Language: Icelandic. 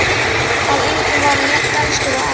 Að engum var hann jafn elskur og Ara.